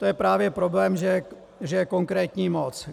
To je právě problém, že je konkrétní moc.